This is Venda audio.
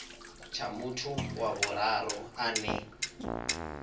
tsha muthu wa vhuraru ane